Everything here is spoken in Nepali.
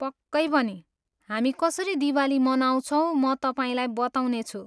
पक्कै पनि, हामी कसरी दिवाली मनाउँछौँ म तपाईँलाई बताउनेछु।